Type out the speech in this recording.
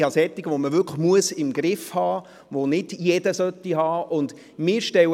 Ich habe solche, die man wirklich «im Griff» haben muss und die nicht jeder haben sollte.